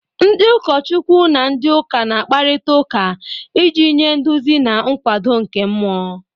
Ndị ụkọchukwu na ndị ụka na-akparịta ụka iji nye nduzi na nkwado nke mmụọ